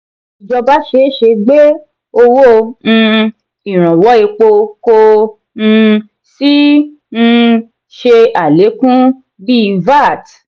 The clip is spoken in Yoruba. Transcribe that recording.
ìjọba ṣeéṣe gbé owó um iranwọ èpo ko um sí um ṣe alekun bí vat.